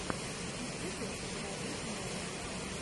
в ютубе заводи мэри